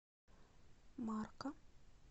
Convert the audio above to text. марка